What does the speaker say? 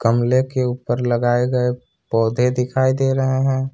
गमले के ऊपर लगाए गए पौधे दिखाई दे रहे हैं।